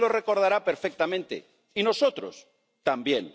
Usted lo recordará perfectamente, y nosotros también.